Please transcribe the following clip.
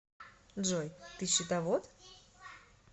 джой ты счетовод